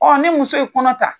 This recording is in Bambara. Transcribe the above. ni muso ye kɔnɔ ta